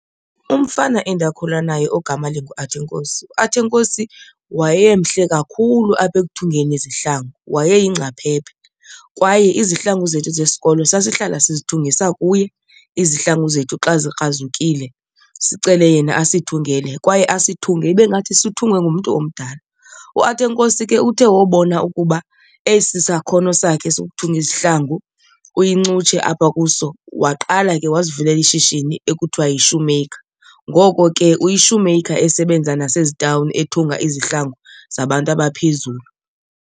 Umfana endakhula naye ogama linguAthenkosi. UAthenkosi wayemhle kakhulu apha ekuthungeni izihlangu, wayeyingcaphephe kwaye izihlangu zethu zesikolo sasihlala sizithungisa kuye. Izihlangu zethu xa zikrazukile sicele yena asithungele kwaye asithunge ibe ngathi sithungwe ngumntu omdala. UAthenkosi ke uthe wobona ukuba esi sakhono sakhe sokuthunga izihlangu uyincutshe apha kuso waqala ke wazivulela ishishini ekuthiwa yi-shoemaker. Ngoko ke uyi-shoemaker esebenza nasezitawni ethunga izihlangu zabantu abaphezulu.